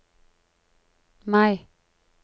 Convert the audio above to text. Mai